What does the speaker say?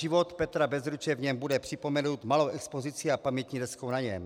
Život Petra Bezruče v něm bude připomenut malou expozicí a pamětní deskou na něm.